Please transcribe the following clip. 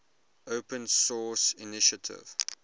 open source initiative